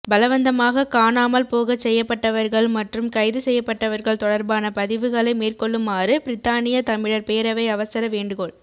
பலவந்தமாக காணாமல் போகச் செய்யப்பட்டவர்கள் மற்றும் கைது செய்யப்பட்டவர்கள் தொடர்பான பதிவுகளை மேற்கொள்ளுமாறு பிரித்தானிய தமிழர் பேரவை அவசர வேண்டுகோள்